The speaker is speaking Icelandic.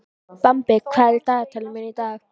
Bambi, hvað er í dagatalinu mínu í dag?